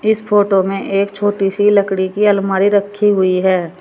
इस फोटो में एक छोटी सी लकड़ी की अलमारी रखी हुई है।